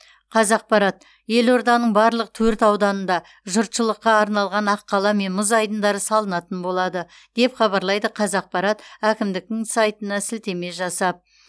қазақпарат елорданың барлық төрт ауданында жұртшылыққа арналған аққала мен мұз айдындары салынатын болады деп хабарлайды қавзақпарат әкімдіктің сайтына сілтеме жасап